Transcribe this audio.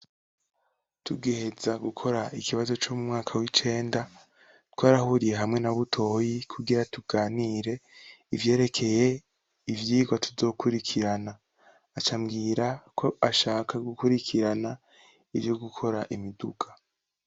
Tugiheza gukora ikibazo co mu mwaka w'icenda, twarahuriye hamwe na Butoyi kugira tuganire ivyerekeye ivyigwa tuzokurikirana acambwira ko ashaka gukurikirana ivyo gukora imiduga.